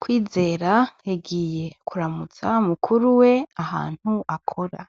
Kwizera yagiye kuramutsa mukuru wiwe ahantu akora.